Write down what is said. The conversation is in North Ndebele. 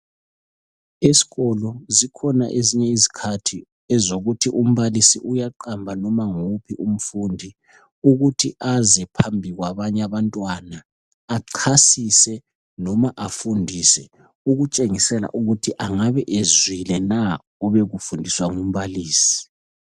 Esikolo zikhona ezinye izikhathi ezokuthi umbalisi uyaqamba noma nguwuphi umfundi ukuthi aze phambi kwabanye abantwana achasise noma afundise ukutshengisela ukuthi angabe ezwile na obekufundiswa ngumbalisi.